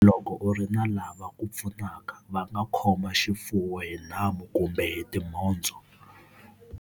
Loko u ri na lava ku pfunaka, va nga khoma xifuwo hi nhamu kumbe hi timhondzo.